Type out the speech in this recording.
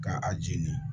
Ka a jeni